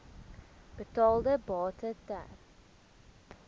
betaalde bate ter